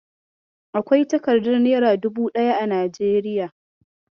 Akwai takardar nera dubu ɗaya a Najeriya.